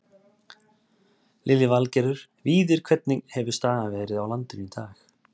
Lillý Valgerður: Víðir hvernig hefur staðan verið á landinu í dag?